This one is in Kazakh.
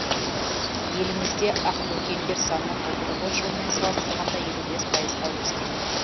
елімізде ақбөкендер саны былтырғы жылмен салыстырғанда елу бес пайызға өскен